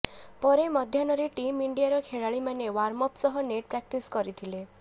ପରେ ମଧ୍ୟାହ୍ନରେ ଟିମ୍ ଇଣ୍ଡିଆର ଖେଳାଳିମାନେ ୱାର୍ମ ଅପ ସହ ନେଟ୍ ପ୍ରାକଟିସ କରିଥିଲେ